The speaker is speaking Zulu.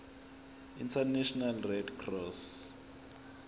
international red cross